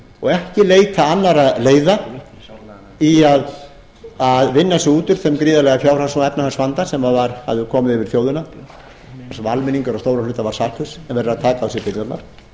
og ekki leita annarra leiða í að vinna sig út úr þeim gríðarlega fjárhags og efnahagsvanda sem hafði komið yfir þjóðina sem almenningur að stórum hluta var saklaus en verður að taka á sig byrðarnar